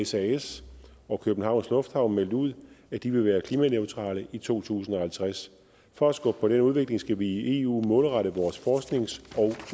sas og københavns lufthavne meldt ud at de vil være klimaneutrale i to tusind og halvtreds for at skubbe på den udvikling skal vi i eu målrette vores forsknings